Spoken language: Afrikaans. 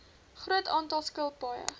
groot aantal skilpaaie